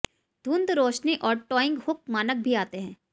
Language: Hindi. धुंध रोशनी और टॉइंग हुक मानक भी आते हैं